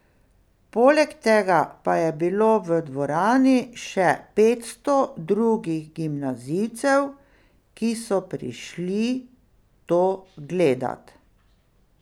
Poleg tega pa je bilo v dvorani še petsto drugih gimnazijcev, ki so prišli to gledat.